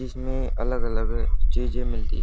जिसमें अलग अलग चीजें मिलती--